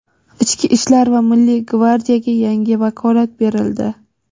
Ichki ishlar va Milliy gvardiyaga yangi vakolat berildi.